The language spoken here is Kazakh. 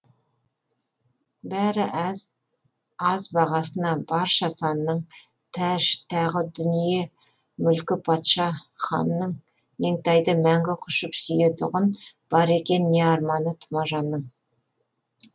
бәрі аз бағасына барша санның тәж тағы дүние мүлкі патша ханның меңтайды мәңгі құшып сүйетұғын бар екен не арманы тұмажанның